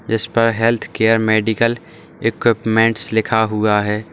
जिस पर healthcare medical equipments लिखा हुआ है।